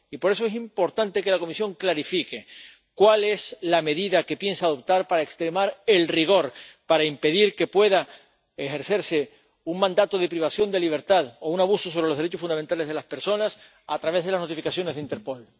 Y por eso es importante que la Comisión clarifique qué medida piensa adoptar para extremar el rigor, para impedir que pueda ejercerse un mandato de privación de libertad o un abuso sobre los derechos fundamentales de las personas a través de las notificaciones de Interpol.